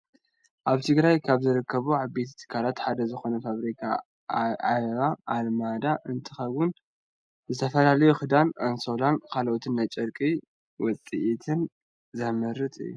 ኣብ ትግራይ ካብ ዝርከቡ ዓበይቲ ትካላት ሓደ ዝኮነ ፋብሪካ ዓለባ ኣልመዳ እንትከውን ዝተፈላለዩ ክዳን፣ ኣንሶላን ካልኦት ናይ ጨርቂ ውፂኢት ዘምርት እዩ።